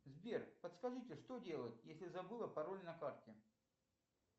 сбер подскажите что делать если забыла пароль на карте